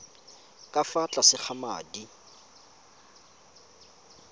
ka fa tlase ga madi